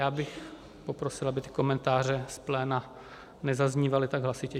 Já bych poprosil, aby ty komentáře z pléna nezaznívaly tak hlasitě.